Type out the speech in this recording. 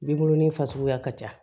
Binkurunin fasuguya ka ca